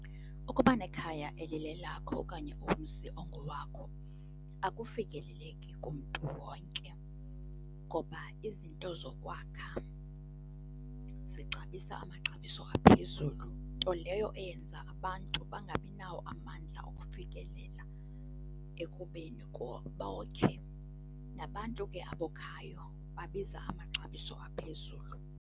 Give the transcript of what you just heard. Ukuba nekhaya elilelakho okanye umzi ongowakho akufikeleleki kumntu wonke ngoba izinto zokwakha zixabisa amaxabiso aphezulu, nto leyo eyenza abantu bangabinawo amandla ukufikelela ekubeni bokhe. Nabantu ke abokhayo babiza amaxabiso aphezulu.